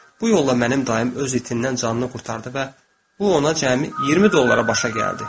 Bu yolla mənim dayım öz itindən asanlıqla qurtardı və bu ona cəmi 20 dollara başa gəldi.